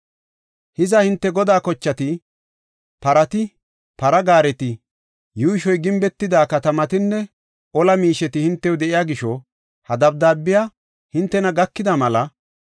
“Hiza hinte godaa kochati, parati, para gaareti, yuushoy gimbetida katamatinne ola miisheti hintew de7iya gisho, ha dabdaabey hintena gakida mela,